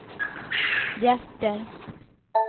hjärter